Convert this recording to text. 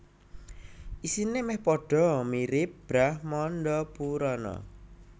Isine meh padha mirip Brahmandapurana